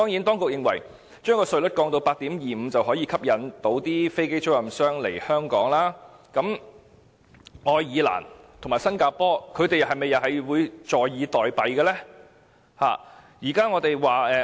當局認為，將稅率降至 8.25%， 便可以吸引飛機租賃商來港，可是，愛爾蘭和新加坡又會否坐以待斃呢？